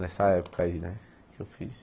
Nessa época aí né que eu fiz.